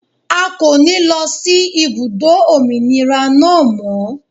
A kò ní lọ sí ibùdó òmìnira náà mọ́.